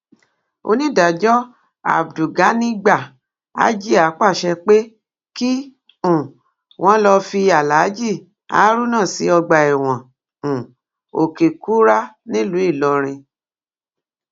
onídàájọ abdulganigba ajiá pàṣẹ pé kí um wọn lọọ fi aláàjì haruna sí ọgbà ẹwọn um òkèkúrá nílùú ìlọrin